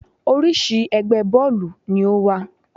Oríṣi ẹgbẹ́ bọ́ọ̀lù ni ó wà.